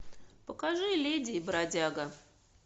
покажи леди и бродяга